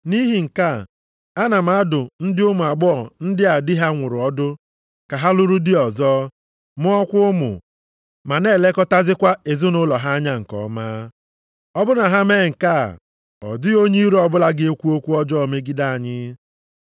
Nʼihi nke a, ana m adụ ndị ụmụ agbọghọ ndị a di ha nwụrụ ọdụ ka ha lụrụ di ọzọ, mụọkwa ụmụ, ma na-elekọtazikwa ezinaụlọ ha anya nke ọma. Ọ bụrụ na ha mee nke a, ọ dịghị onye iro ọbụla ga-ekwu okwu ọjọọ megide anyị.